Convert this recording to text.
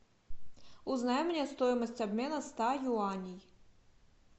узнай мне стоимость обмена ста юаней